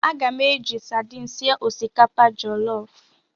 Aga m eji sadin sie osikapa jọlọf.